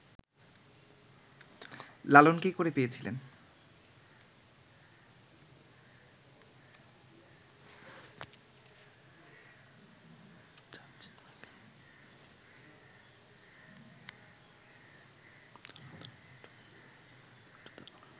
লালন কী করে পেয়েছিলেন